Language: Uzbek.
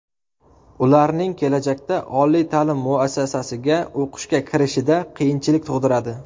Ularning kelajakda oliy ta’lim muassasiga o‘qishga kirishida qiyinchilik tug‘diradi.